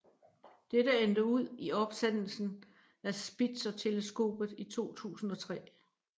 Dette endte ud i opsendelsen af Spitzerteleskopet i 2003